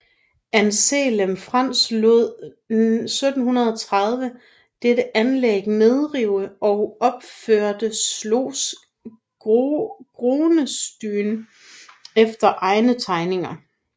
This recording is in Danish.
Anselm Franz lod 1730 dette anlæg nedrive og opførte Schloss Groenesteyn efter egne tegninger